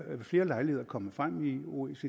flere lejligheder kommet frem i oecds